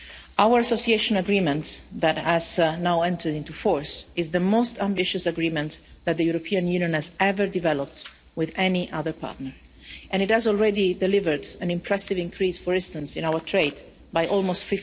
Our Association Agreement which has now entered into force is the most ambitious agreement that the European Union has ever developed with any other partner. It has already delivered an impressive increase, for instance, in our trade by almost